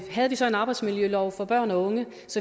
havde vi så en arbejdsmiljølov for børn og unge